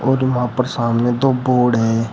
और वहां पर सामने दो बोर्ड हैं।